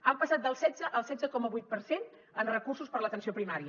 han passat del setze al setze coma vuit per cent en recursos per a l’atenció primària